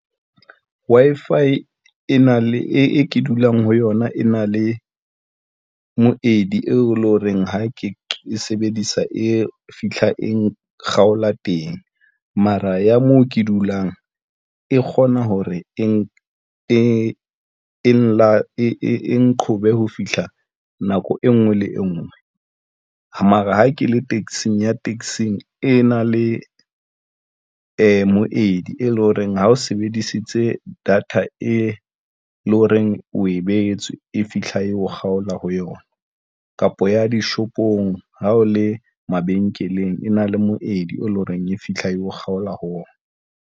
Wi-Fi e na le e ke dulang ho yona, e na le moedi eo eleng horeng ha ke sebedisa e fihla, e kgaola teng mara ya moo ke dulang e kgona hore e nqhobe ho fihla nako enngwe le enngwe, mara ha ke le taxing, ya taxing e na le moedi e leng horeng ha o sebedisitse data e leng hore o e beetswe e fihla e ho kgaola ho yona kapa ya dishopong ha o le mabenkeleng, e na le moedi eleng horeng e fihla e ho kgaola ho ona.